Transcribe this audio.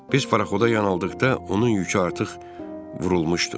Biz parxoda yaxınlaşdıqda onun yükü artıq vurulmuşdu.